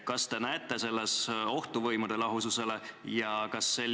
Kas te näete selles ohtu võimude lahususele?